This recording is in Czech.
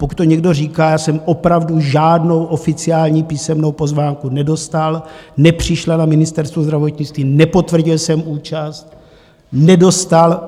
Pokud to někdo říká, já jsem opravdu žádnou oficiální písemnou pozvánku nedostal, nepřišla na Ministerstvo zdravotnictví, nepotvrdil jsem účast, nedostal.